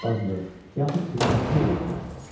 Aşbazlıq, yaxud xidmətçilik eləyə bilərdi.